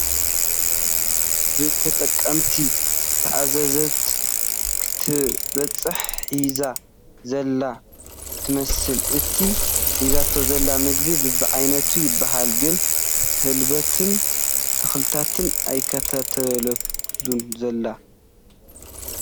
ብ ተጠቐምቲ ዝተኣዘዘት ክተብፅሕ ሒዛ ዘላ ትመስል ፡ እቲ ሒዛቶ ዘላ ምግቢ በብዓይነቱ ይበሃል ግን ሕልበትን ተኽልታትን ኣየካተትሉን ዘላ ።